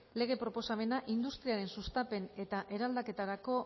lege proposamena industriaren sustapen eta eraldaketarako